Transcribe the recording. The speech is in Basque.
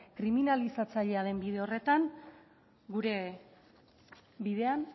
kriminalizatzailea den bide horretan gure bidean